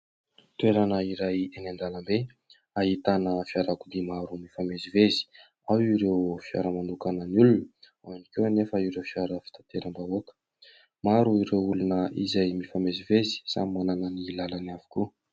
Toerana iray eny an-dalambe ahitana fiarakodia maro mifamezivezy, ao ireo fiara manokana an'ny olona, ao ihany koa anefa ireo fiara fitateram-bahoaka. Maro ireo olona izay mifamezivezy, samy manana ny lalany avokoa.